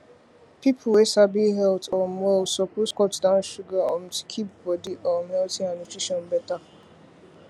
people wey sabi health um well suppose cut down sugar um to keep body um healthy and nutrition better